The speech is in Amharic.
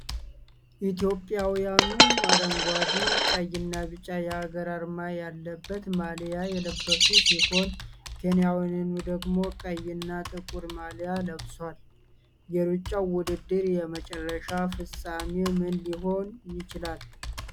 ኢትዮጵያውያኑ አረንጓዴ፣ ቀይና ቢጫ የሀገር አርማ ያለበት ማሊያ የለበሱ ሲሆን፣ ኬንያዊው ደግሞ ቀይና ጥቁር ማሊያ ለብሷል። የሩጫው ውድድር የመጨረሻ ፍጻሜ ምን ሊሆን ይችላል?